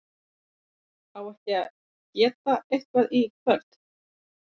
á ekki að geta eitthvað í kvöld?